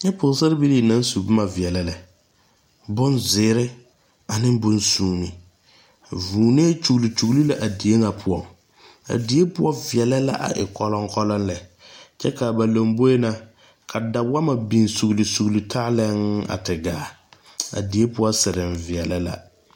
Nyɛ pɔɔsaarebilii naŋ su bomma veɛlɛ lɛ bon zeere aneŋ bon suumo vūūnee kyure kyure la a die ŋa poɔŋ a die ooɔ veɛlɛ la a e kɔlɔŋkɔlɔŋ lɛ kyɛ kaa ba lomboe na ka da wɔɔma biŋ sugli sugli taa lɛɛɛŋ a te gaa a die poɔ sireŋ veɛlɛ la.